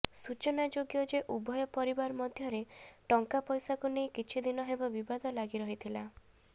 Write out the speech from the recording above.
ସୂଚନାଯୋଗ୍ୟ ଯେ ଉଭୟ ପରିବାର ମଧ୍ୟରେ ଟଙ୍କା ପଇସାକୁ ନେଇ କିଛି ଦିନ ହେବ ବିବାଦ ଲାଗି ରହିଥିଲା